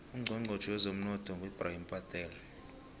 ucnchonchotjhe wezemnotho ngu ebrahim patel